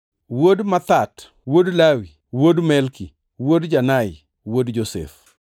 wuod Mathat, wuod Lawi, wuod Melki, wuod Janai, wuod Josef,